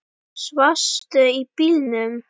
Svafstu í bílnum?